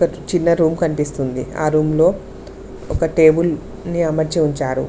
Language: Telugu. చిన్న రూమ్ కనిపిస్తుంది ఆ రూమ్లో ఒక టేబుల్ ని అమర్చి ఉంచారు.